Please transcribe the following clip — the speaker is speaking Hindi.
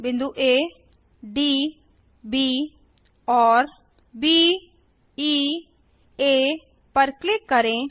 बिंदु आ डी ब और ब ई आ पर क्लिक करें